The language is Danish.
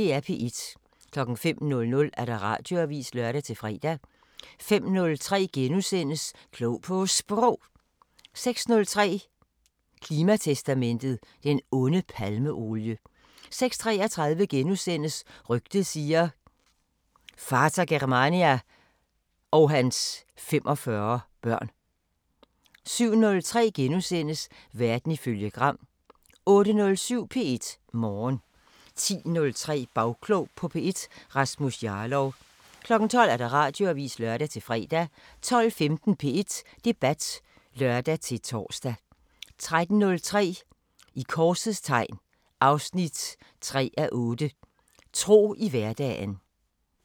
05:00: Radioavisen (lør-fre) 05:03: Klog på Sprog * 06:03: Klimatestamentet: Den onde palmeolie 06:33: Rygtet siger: Vater Germania og hans 45 børn * 07:03: Verden ifølge Gram * 08:07: P1 Morgen 10:03: Bagklog på P1: Rasmus Jarlov 12:00: Radioavisen (lør-fre) 12:15: P1 Debat (lør-tor) 13:03: I korsets tegn 3:8 – Tro i hverdagen